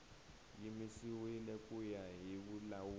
yimisiwile ku ya hi vulawuri